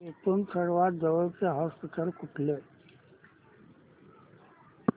इथून सर्वांत जवळचे हॉस्पिटल कुठले